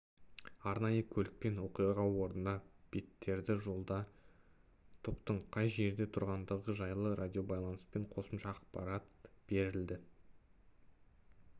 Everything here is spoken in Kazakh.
арнайы көлікпен оқиға орнына беттеді жолда топтың қай жерде тұрғандығы жайлы радиобайланыспен қосымша ақпарат берілді